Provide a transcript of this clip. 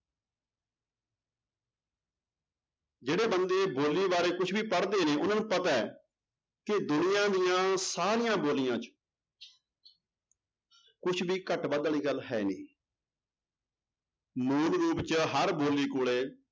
ਜਿਹੜੇ ਬੰਦੇ ਬੋਲੀ ਬਾਰੇ ਕੁਛ ਵੀ ਪੜ੍ਹਦੇ ਨੇ ਉਹਨਾਂ ਨੂੰ ਪਤਾ ਹੈ ਕਿ ਦੁਨੀਆਂ ਦੀਆਂ ਸਾਰੀਆਂ ਬੋਲੀਆਂ ਚ ਕੁਛ ਵੀ ਘੱਟ ਵੱਧ ਵਾਲੀ ਗੱਲ ਹੈ ਨੀ ਮੂਲ ਰੂਪ ਚ ਹਰ ਬੋਲੀ ਕੋਲੇ